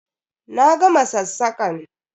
Na gama sassakan!